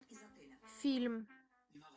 фильм